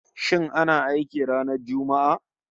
Shin ana aiki ranar Juma'a?